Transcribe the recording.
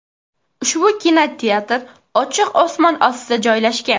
Ushbu kinoteatr ochiq osmon ostida joylashgan.